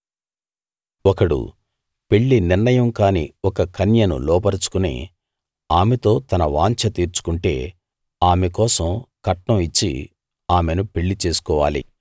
ఒకడు పెళ్లి నిర్ణయం కాని ఒక కన్యను లోబరచుకుని ఆమెతో తన వాంఛ తీర్చుకుంటే ఆమె కోసం కట్నం ఇచ్చి ఆమెను పెళ్లి చేసుకోవాలి